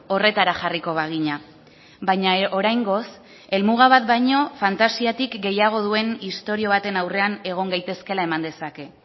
horretara jarriko bagina baina oraingoz helmuga bat baino fantasiatik gehiago duen istorio baten aurrean egon gaitezkeela eman dezake